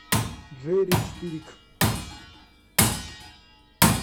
джерри четыре к